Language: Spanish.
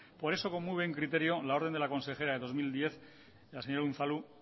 por eso con muy buen criterio la orden de la consejera de dos mil diez la señora unzalu